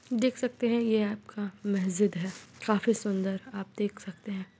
देख सकते हैं ये आपका मेह्जिद है काफी सुंदर आप देख सकते हैं ।